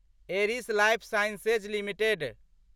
Eris lifesciences limited